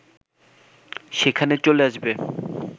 সেখানে চলে আসবে